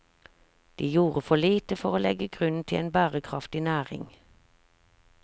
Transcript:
De gjorde for lite for å legge grunnen til en bærekraftig næring.